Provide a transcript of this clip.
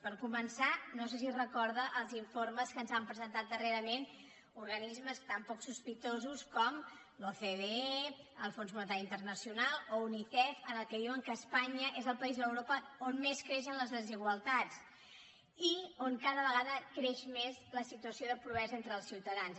per començar no sé si recorda els informes que ens han presentat darrerament organismes tan poc sospitosos com l’ocde el fons monetari internacional o unicef en què diuen que espanya és el país d’europa on més creixen les desigualtats i on cada vegada creix més la situació de pobresa entre els ciutadans